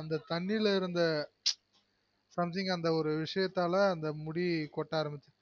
அந்த தண்ணில இருந்த something அந்த ஒரு விசியத்தால முடி கொட்ட அரம்பிசிடுசு